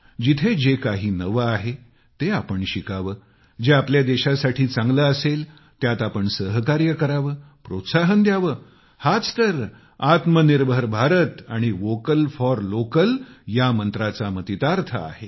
जिथे जे काही नवं आहे ते आपण शिकावं जे आपल्या देशासाठी चांगलं असेल त्यात आपण सहकार्य करावं प्रोत्साहन द्यावं हाच तर आत्मनिर्भर भारत आणि व्होकल फॉर लोकल या मंत्राचा मतितार्थ आहे